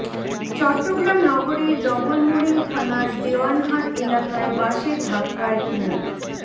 চট্টগ্রাম নগরীর ডবলমুরিং থানার দেওয়ানহাট এলাকায় বাসের ধাক্কায় মো